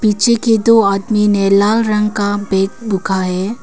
पीछे के दो आदमी ने लाल रंग का बेग बुखा है।